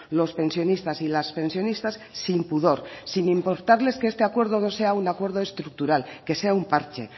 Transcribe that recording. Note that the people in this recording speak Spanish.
los pensionistas y las pensionistas sin pudor sin importarles que este acuerdo no sea un acuerdo estructural que sea un parche